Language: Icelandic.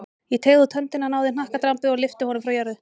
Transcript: Ég teygði út höndina, náði í hnakkadrambið og lyfti honum frá jörðu.